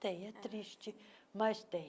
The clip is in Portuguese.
Tem, é triste, mas tem.